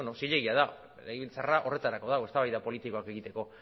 zilegia da legebiltzarra horretarako dago eztabaida politikoak egiteko